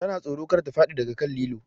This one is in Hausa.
Ta na tsoro kar ta faɗi daga kan lilo